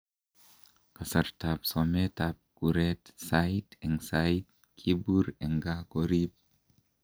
Kasartaab someetab kureet , sayiit en sayiit kibuur en kaa koriib.